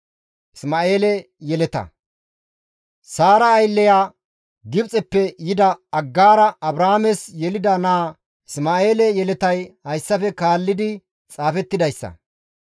Saara aylleya Gibxeppe yida Aggaara Abrahaames yelida naaza Isma7eele yeletay hayssafe kaalli xaafettidayssa.